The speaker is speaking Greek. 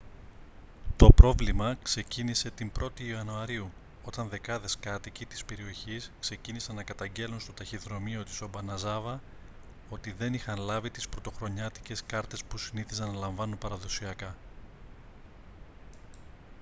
το πρόβλημα ξεκίνησε την 1η ιανουαρίου όταν δεκάδες κάτοικοι της περιοχής ξεκίνησαν να καταγγέλλουν στο ταχυδρομείο της ομπαναζάβα ότι δεν είχαν λάβει τις πρωτοχρονιάτικες κάρτες που συνήθιζαν να λαμβάνουν παραδοσιακά